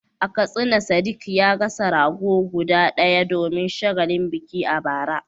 A Katsina Sadiq ya gasa rago guda ɗaya domin shagalin biki a bara.